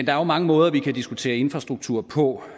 er jo mange måder vi kan diskutere infrastruktur på